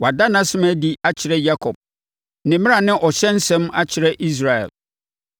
Wada nʼasɛm adi akyerɛ Yakob, ne mmara ne ɔhyɛ nsɛm akyerɛ Israel.